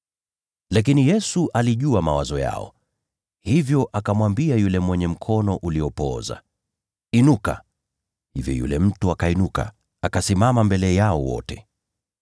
Lakini Yesu alijua mawazo yao, hivyo akamwambia yule mwenye mkono uliopooza, “Inuka usimame mbele ya watu wote.” Hivyo yule mtu akainuka, akasimama mbele yao wote.